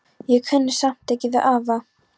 Ég kunni samt ekki við afa.